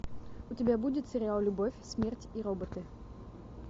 у тебя будет сериал любовь смерть и роботы